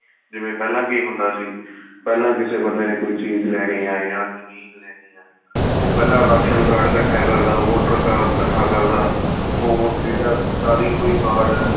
ਜਿਵੇਂ ਪਹਿਲਾਂ ਕੀ ਹੁੰਦਾ ਸੀ ਪਹਿਲਾਂ ਕਿਸੇ ਬੰਦੇ ਨੇ ਕੋਈ ਚੀਜ ਲੈਣੀ ਏ ਜਾਂ ਉਹ ਪਹਿਲਾਂ ਰਾਸ਼ਨ card ਇੱਕਠਾ ਕਰਦਾ voter card ਇੱਕਠਾ ਕਰਦਾ ਹੋਰ ਜਿਹੜਾ ਸਰਕਾਰੀ ਕੋਈ ਜੋ card ਆ